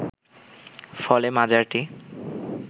ফলে মাজারটি